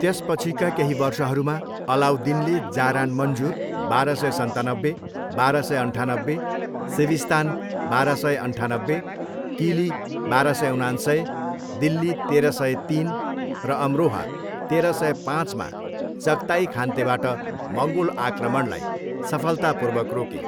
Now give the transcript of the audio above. त्यसपछिका केही वर्षहरूमा, अलाउद्दिनले जारान मन्जुर, बाह्र सय सन्तानब्बे, बाह्र सय अन्ठानब्बे, सिविस्तान, बाह्र सय अन्ठानब्बे, किली, बाह्र सय उनान्सय, दिल्ली, तेह्र सय तिन, र अमरोहा, तेह्र सय पाँचमा चगताई खानतेबाट मङ्गोल आक्रमणलाई सफलतापूर्वक रोके।